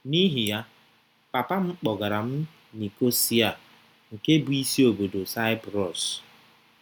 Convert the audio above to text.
N’ihi ya, papa m kpọgara m Nicosia nke bụ́ isi obodo Saịprọs